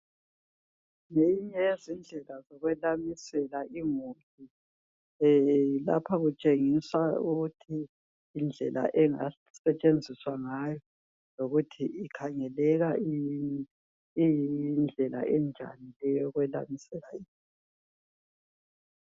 Zinengi izindlela zokwelamisela imuli. Lapha kutshengisa ukuthi indlela engasetshenziswa ngayo lokuthi ikhangeleka iyindlela enjani yokwelamisela i